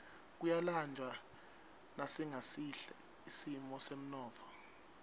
kuyalanjwa nasingesihle simo semnotfo